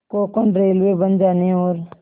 Konkan railway बन जाने और